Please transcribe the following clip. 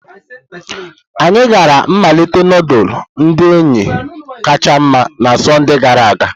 Anyị gara mmalite nudulu ndi enyi kacha nma na Sọnde gara aga.